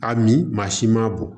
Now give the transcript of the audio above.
A min maa si ma bɔn